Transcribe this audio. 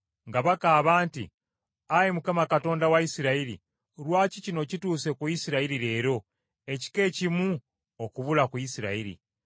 nga bakaaba nti, “Ayi Mukama Katonda wa Isirayiri, lwaki kino kituuse ku Isirayiri leero, ekika ekimu okubula ku Isirayiri?”